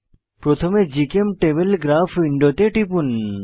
প্রথমে জিচেমটেবল গ্রাফ উইন্ডোতে টিপুন